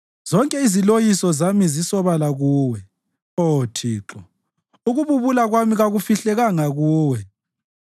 Zonke iziloyiso zami zisobala kuwe, Oh Thixo, ukububula kwami kakufihlekanga kuwe.